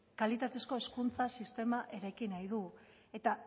kalitatezko hezkuntza sistema eraiki nahi du eta